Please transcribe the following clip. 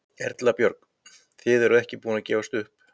Erla Björg: Þið eruð ekki búin að gefast upp?